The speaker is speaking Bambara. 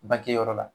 Bangeyɔrɔ la